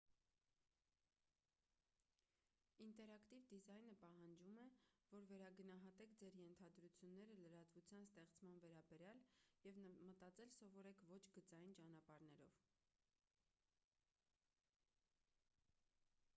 ինտերակտիվ դիզայնը պահանջում է որ վերագնահատեք ձեր ենթադրությունները լրատվության ստեղծման վերաբերյալ և մտածել սովորեք ոչ գծային ճանապարհներով